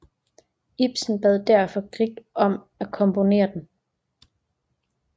Ibsen bad derfor Grieg om at komponere den